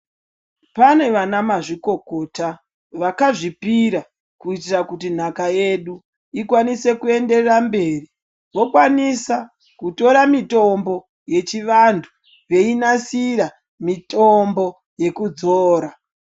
Pane vanamazvikokota vakazvipira kuitira kuti nhaka yedu ikwanise kuyenderera mberi vakwanisa kutora mitombo yechivantu veinasira mitombo yekudzora.